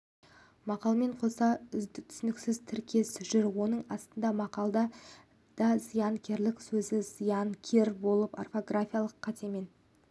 мақалмен қоса түсініксіз тіркес жүр оның астындағы мақалда да зиянкер сөзі зыянкер болып орфографиялық қатемен